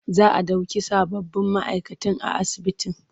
Za a ɗauki sababbin ma'aikatan a asibitin.